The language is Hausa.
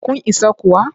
Kun isa kuwa?